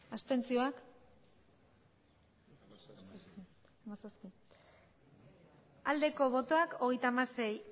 abstentzioa hogeita hamasei